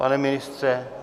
Pane ministře?